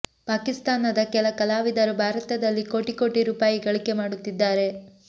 ಪಾಕಿಸ್ತಾನದ ಕೆಲ ಕಲಾವಿದರು ಭಾರತದಲ್ಲಿ ಕೋಟಿ ಕೋಟಿ ರೂಪಾಯಿ ಗಳಿಕೆ ಮಾಡುತ್ತಿದ್ದಾರೆ